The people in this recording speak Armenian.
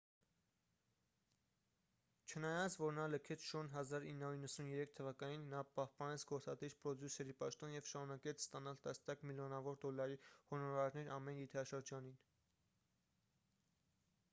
չնայած որ նա լքեց շոուն 1993 թվականին նա պահպանեց գործադիր պրոդյուսերի պաշտոնը և շարունակեց ստանալ տասնյակ միլիոնավոր դոլարի հոնորարներ ամեն եթերաշրջանին